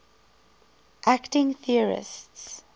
acting theorists